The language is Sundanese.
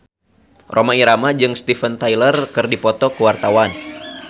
Rhoma Irama jeung Steven Tyler keur dipoto ku wartawan